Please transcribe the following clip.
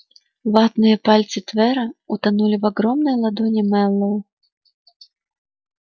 ватные пальцы твера утонули в огромной ладони мэллоу